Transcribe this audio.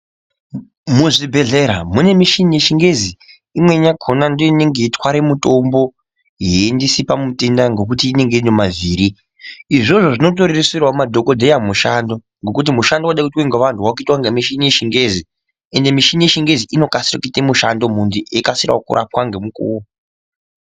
Muzvibhedhlera mune michini yechingezi imweni yakona ndoinenge yeitwara mutombo yeiendesa pamutenda ngekuti inenge ine mavhiri izvozvo zvinotorerusirawo ,madhokodheya mumu shando ngokuti mushando unoda kuitwa nevantu wakuitwa nemuchina wechingezi ende muchina wechingezi unokasika kuita mushando muntu echirapiwa nemukuwo.